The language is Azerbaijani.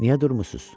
"Niyə durmusunuz?